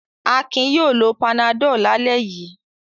Akin yóò lo Panadol lálẹ́ yìí.